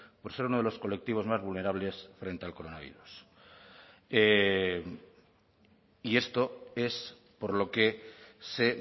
por ser uno de los colectivos más vulnerables frente al coronavirus y esto es por lo que se